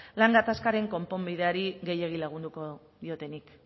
lan gatazkaren konponbideari gehiegi lagundu diotenik